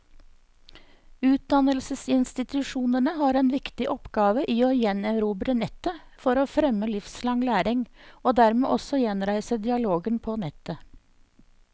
Utdannelsesinstitusjonene har en viktig oppgave i å gjenerobre nettet for å fremme livslang læring, og dermed også gjenreise dialogen på nettet.